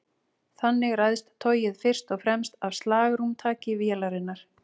Þannig ræðst togið fyrst og fremst af slagrúmtaki vélarinnar.